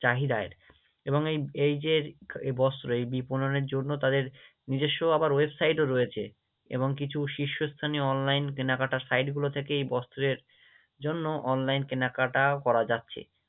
চাহিদার এবং এই এই যে এই বস্ত্র এই যে বুননের জন্য তাদের নিজস্ব আবার Website ও রয়েছে, এবং কিছু শীর্ষস্থানীয় online কেনাকাটার site গুলো থেকে এই বস্ত্রের জন্য online কেনাকাটাও করা যাচ্ছে।